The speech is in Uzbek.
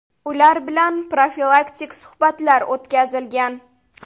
Ular bilan profilaktik suhbatlar o‘tkazilgan.